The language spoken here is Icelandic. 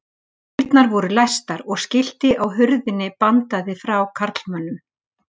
Dyrnar voru læstar og skilti á hurðinni bandaði frá karlmönnum.